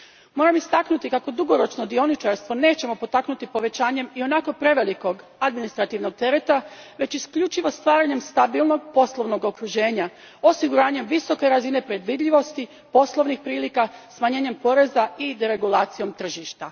Moram istaknuti kako dugoročno dioničarstvo nećemo potaknuti povećanjem ionako prevelikog administrativnog tereta, već isključivo stvaranjem stabilnog poslovnog okruženja, osiguranjem visoke razine predvidljivosti poslovnih prilika, smanjenjem poreza i deregulacijom tržišta.